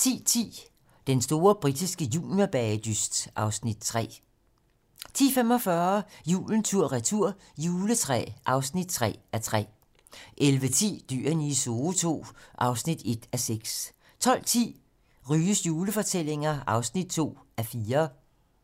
10:10: Den store britiske juniorbagedyst (Afs. 3) 10:45: Julen tur-retur – juletræ (3:3) 11:10: Dyrene i Zoo II (1:6) 12:10: Ryges julefortællinger (2:4)